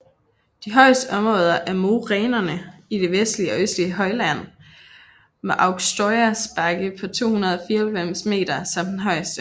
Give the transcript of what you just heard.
De højeste områder er morænerne i det vestlige og østlige højland med Aukštojas bakke på 294 m som den højeste